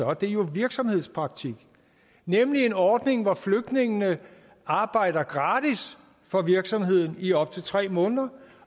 er det jo virksomhedspraktik nemlig en ordning hvor flygtningene arbejder gratis for virksomheden i op til tre måneder